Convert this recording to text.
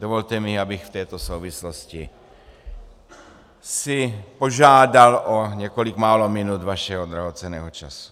Dovolte mi, abych v této souvislosti si požádal o několik málo minut vašeho drahocenného času.